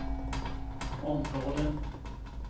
områden